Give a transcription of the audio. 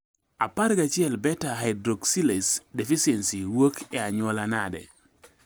11 beta hydroxylase deficiency wuok e anyuola nade